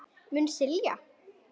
Mun skilja.